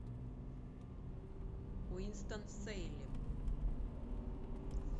уинстон сейлем